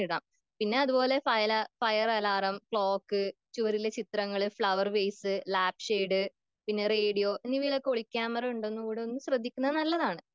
പിന്നെ അത്പോലെ fire, fire alarm, clock ചുവരിലെ ചിത്രങ്ങൾ ഫ്ലവർവൈസ് ലാപ്‌ഷെഡ് പിന്നെ റേഡിയോ എന്നിവയിലൊക്കെ ഒളികേമറ ഉണ്ടോയെന്ന് ശ്രദ്ധിക്കുന്നത് നല്ലതാണ്.